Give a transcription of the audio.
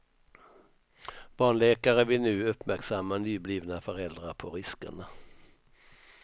Barnläkare vill nu uppmärksamma nyblivna föräldrar på riskerna.